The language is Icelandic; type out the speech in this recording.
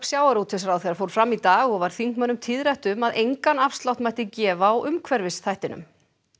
sjávarútvegsráðherra fór fram í dag og var þingmönnum tíðrætt um að engan afslátt mætti gefa á umhverfisþættinum